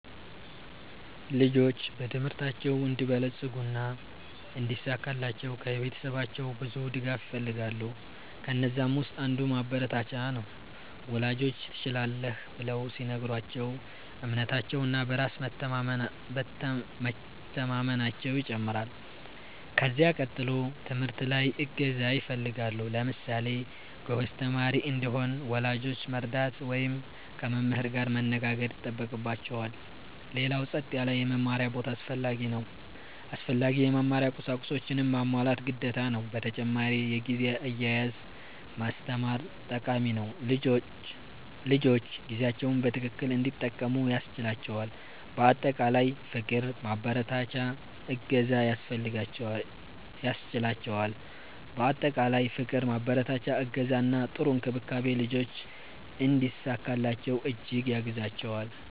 ልጆች በትምህርታቸው እንዲበለጽጉ እና እንዲሳካላቸው ከቤተሰባቸው ብዙ ድጋፍ ይፈልጋሉ። ከነዛም ውስጥ አንዱ ማበረታቻ ነው፤ ወላጆች “ትችላለህ” ብለው ሲነግሯቸው እምነታቸው እና በራስ መቸማመናየው ይጨምራል። ከዚያ ቀጥሎ ትምህርት ላይ እገዛ ይፈልጋሉ። ለምሳሌ ጎበዝ ተማሪ እንዲሆን ወላጆች መርዳት ወይም ከመምህር ጋር መነጋገር ይጠበቅባቸዋል። ሌላው ጸጥ ያለ የመማሪያ ቦታ አስፈላጊ ነው። አስፈላጊ የመማሪያ ቁሳቁሶችንም ማሟላት ግዴታ ነው። በተጨማሪ የጊዜ አያያዝ ማስተማር ጠቃሚ ነው፤ ልጆች ጊዜያቸውን በትክክል እንዲጠቀሙ ያስችላቸዋል። በአጠቃላይ ፍቅር፣ ማበረታቻ፣ እገዛ እና ጥሩ እንክብካቤ ልጆች እንዲሳካላቸው እጅግ ያግዛቸዋል።